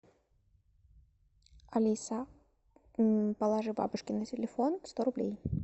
алиса положи бабушке на телефон сто рублей